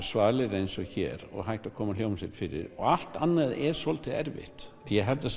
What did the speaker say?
svalir eins og hér og hægt að koma hljómsveit fyrir og allt annað er svolítið erfitt ég held að